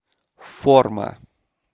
форма